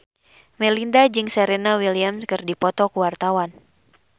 Melinda jeung Serena Williams keur dipoto ku wartawan